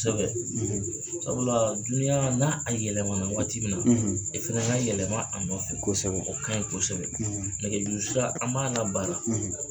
Sabula duyan n'a yɛlɛmana waati min na ,i fana ka yɛlɛma a nɔfɛ . O ka ɲi kosɛbɛ .Nɛgɛjuru sira an b'a la bara